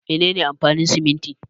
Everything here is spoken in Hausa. Mene ne amfanin siminti?